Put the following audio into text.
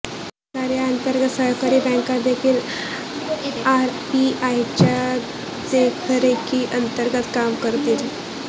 नवीन कायद्याअंतर्गत सहकारी बँका देखील आरबीआयच्या देखरेखीअंतर्गत काम करतील